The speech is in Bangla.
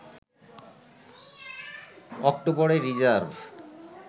অক্টোবরে রিজার্ভ